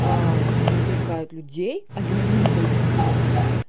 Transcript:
привлекает людей а людям не дают деньги